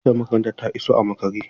Motar makarantar ta iso a makare.